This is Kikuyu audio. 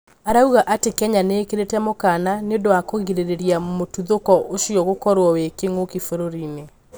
Arauga atĩ Kenya niĩkĩrĩte mũkana nĩũndũ wa kũgirĩrĩria mũtũthũko ũcio gũkorwo wĩ kĩng'ũki bũrũrinĩ